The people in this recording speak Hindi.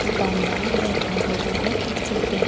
दुकानदार बैठा हुआ है कुर्सी पे।